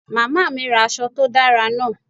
Mama mi ra aṣọ to dara naa